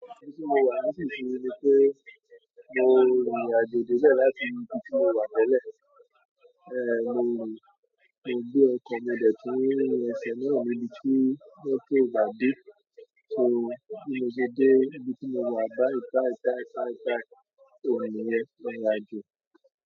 Íbi tí mo wà nísinsìnyí ni pé mo rìnrìn àjò dé ibẹ̀ láti ibi tí mo wà tele. Mo rìn, mo gbé ọkọ̀ mọ dẹ̀ tún rin ẹsẹ̀ náà ni ibi tí motto o ba dé. So bí mo dé dé ibi tí mo wà bái bai bai bai oun niyẹn irìn àjò.